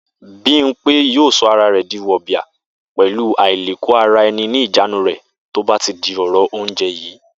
Bímpé yóò so̩ ara rè̩ di wò̩bìà pè̩lú àìlèkó-ara-e̩ni ní ìjánu rè̩ tó bá ti di ò̩rò̩ oúnje̩ yìí